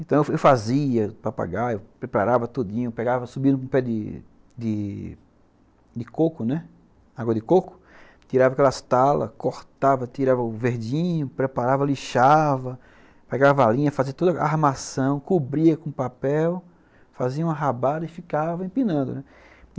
Então eu fazia papagaio, preparava tudinho, pegava, subia no pé de de coco, né, água de coco, tirava aquelas talas, cortava, tirava o verdinho, preparava, lixava, pegava a alinha, fazia toda a armação, cobria com papel, fazia uma rabada e ficava empinando, né.